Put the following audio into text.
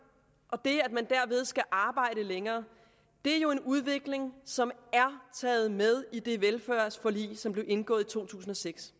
og at man derved skal arbejde længere er jo en udvikling som er taget med i det velfærdsforlig som blev indgået i to tusind og seks